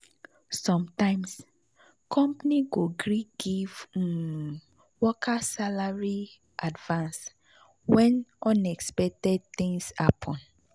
sometimes company go gree give um workers salary advance when unexpected things happen. um